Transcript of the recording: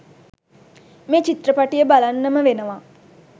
මෙ චිත්‍රපටිය බලන්නම වෙනවා..